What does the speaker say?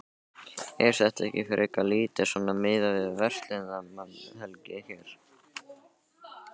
Er þetta ekki frekar lítið svona miðað við verslunarmannahelgi hér?